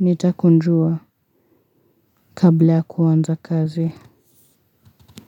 Nitakunjua kabla ya kuanza kazi.